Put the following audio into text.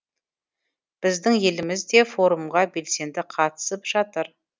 біздің еліміз де форумға белсенді қатысып жатыр